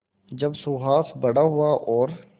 जब सुहास बड़ा हुआ और